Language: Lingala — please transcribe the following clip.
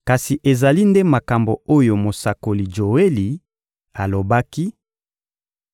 Kasi ezali nde makambo oyo mosakoli Joeli alobaki: